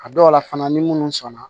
A dɔw la fana ni munnu sɔnna